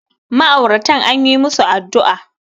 ma'auratan an yi musu addu'a